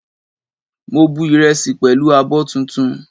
Mo bu ìrẹsì pẹ̀lú abọ́ tuntun